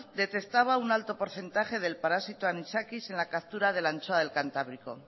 detectaba un alto porcentaje del parásito anisakis en la captura de la anchoa del cantábrico